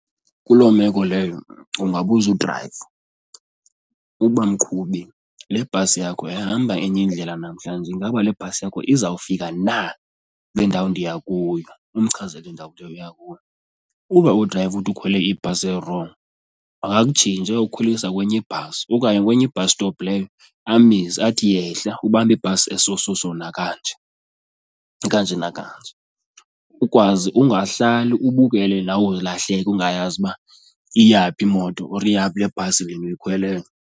Kuloo meko leyo ungabuza udrayiva uba, mqhubi, le bhasi yakho yahamba enye indlela namhlanje ingaba le bhasi yakho izawufika na kule ndawo ndiya kuyo umchazele indawo oya kuyo. Uba udrayiva uthi ukhwele ibhasi erongo makakutshintshe ayokukhwelisa kwenye ibhasi okanye kwenye i-bus stop leyo amise athi yehla, ubambe ibhasi eso so-so nakanje, ekanje nakanje ukwazi ungahlali ubukele nawe ilahleka ungayazi uba iyaphi imoto or iyaphi le bhasi ndiyikhweleyo.